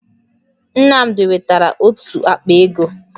Nnamdi wetara otu àkpà égo